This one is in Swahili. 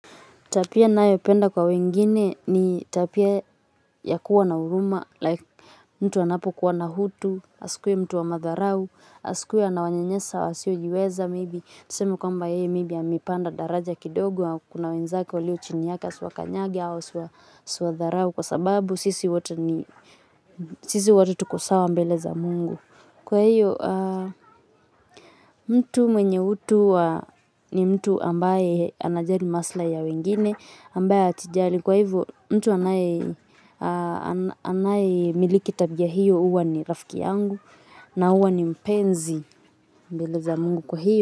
Tabia nayopenda kwa wengine ni tabia ya kuwa na huruma, like mtu anapokuwa na utu, asikuwe mtu wa madharau, asikue anawanyanyasa wasiojiweza maybe. Niseme kwamba yeye maybe amepanda daraja kidogo, kuna wenzake walio chini yake asiwakanyage au asiwadharau kwa sababu sisi wote ni sisi wote tuko sawa mbele za Mungu. Kwa hiyo mtu mwenye utu wa ni mtu ambaye anajali maslahi ya wengine ambaye atijali kwa hivyo mtu anayemiliki tabia hiyo huwa ni rafiki yangu na huwa ni mpenzi mbele za Mungu kwa hiyo.